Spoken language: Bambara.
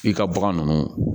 I ka bagan nunnu